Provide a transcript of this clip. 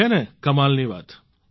છે ને કમાલની વાત